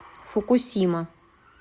фукусима